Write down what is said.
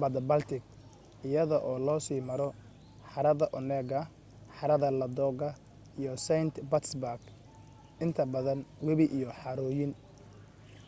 badda baltic, iyada oo loo sii maro harada onega, harada ladoga iyo saint petersburg, inta badan webi iyo harooyin